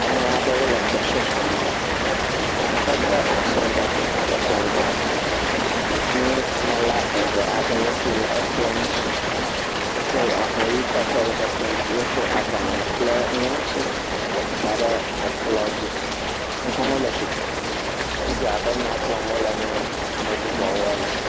Ameha aɖewo le gbɔsɔsɔ me ehede asi ŋgɔgbe edze ŋgɔ nunɔla eve aɖewo si le ekplɔ ŋuti, wokɔ avɔ ʋe kɔde woƒe kplɔ ŋuti, wokɔ agbalẽ kple nuŋlɔti da ɖe ekplɔ dzi, woawo hã wole tsitre edze abe wole nya gblɔm na ame bubuwo ene.